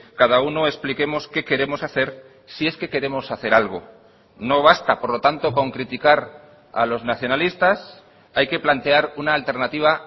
cada uno expliquemos qué queremos hacer si es que queremos hacer algo no basta por lo tanto con criticar a los nacionalistas hay que plantear una alternativa